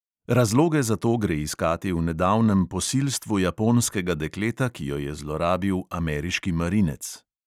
Razloge za to gre iskati v nedavnem posilstvu japonskega dekleta, ki jo je zlorabil ameriški marinec.